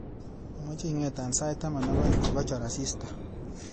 amache ingeto sait taman ak aeng kochor asista